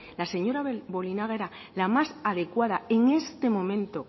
la señora bolinaga era la más adecuada en este momento